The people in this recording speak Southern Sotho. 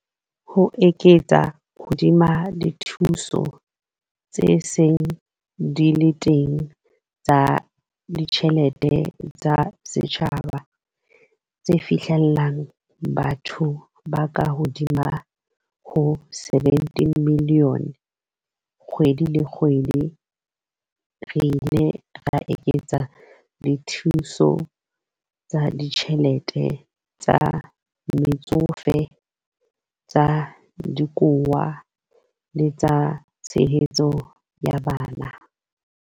Ho eketsa hodima dithuso tse seng di le teng tsa ditjhe lete tsa setjhaba, tse fihlellang bathong ba kahodimo ho 17 milione kgwedi le kgwedi, re ile ra eketsa dithuso tsa ditjhelete tsa Metsofe, tsa Dikowa le tsa Tshehetso ya Bana.